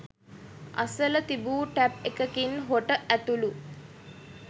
අසල තිබූ ටැප් එකකින් හොට ඇතුළු